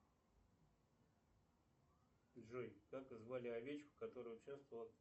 джой как звали овечку которая участвовала